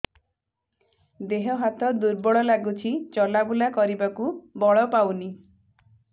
ଦେହ ହାତ ଦୁର୍ବଳ ଲାଗୁଛି ଚଲାବୁଲା କରିବାକୁ ବଳ ପାଉନି